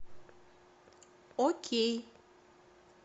окей